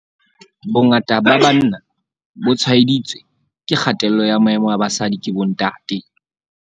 "Bongata ba banna bo tshwaeditswe ke kgatello ya maemo a basadi ke bontate."